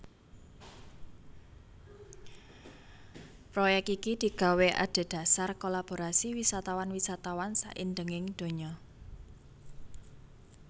Proyek iki digawé adhedhasar kolaborasi wisatawan wisatawan saindhenging donya